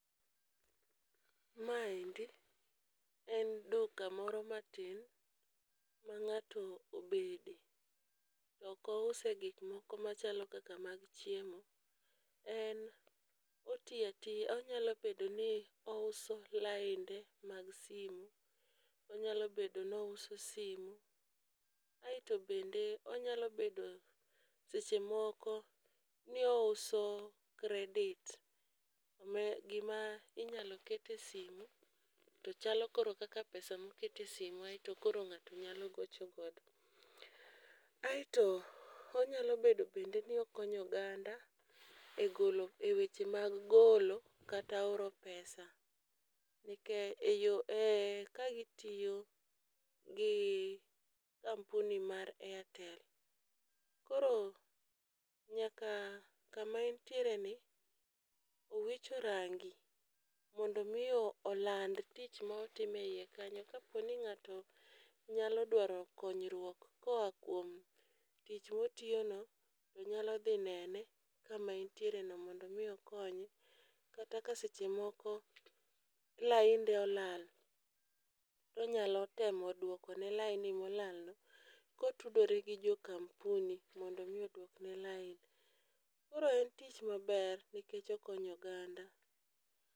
Ma endi en duka moro matin ma ng'ato obede toko use gik moko machalo kaka mag chiemo, en otiya tiya onyalo bedo ni onyalo bedo ni ous lainde mag simu onyalo bedo ni ouso simu. Aeto bende onyalo bedo seche moko ni ouso credit , gima inyalo kete simu to chalo koro kaka pesa mokete simu aeto koro ng'ato nyalo gocho godo . Aeto onyalo bedo bende ni okony oganda e golo e weche mag golo kata oro pesa . Nikech e yo e kagi tiyo gi kampurni mar airtel. Koro nyaka kama entiere ni owicho rangi mondo mi oland tich motime iye kanyo kapo ni ng'ato nyalo dwaro konyruok koa kuom tich motiyo no to nyalo dhi nene kama entiere no mondo mi okonye. Kata ka seche moko lainde olal onyalo temo duoko ne laini mola no kotudore gi jo kampuni mondo mi odwokne lain. Koro en tich maber nikech okonyo oganda.